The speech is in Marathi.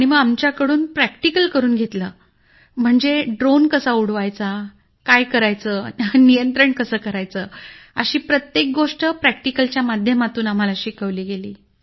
मग आमच्याकडून प्रॅक्टिकल करून घेतलं म्हणजे ड्रोन कसा उडवायचा काय करायचं नियंत्रण कसं करायचं अशी प्रत्येक गोष्ट प्रॅक्टिकल च्या माध्यमातून शिकवली गेली